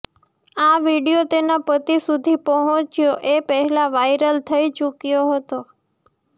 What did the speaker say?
આ વિડીયો તેના પતિ સુધી પહોંચ્યો એ પહેલાં વાઇરલ થઈ ચૂક્યો હતો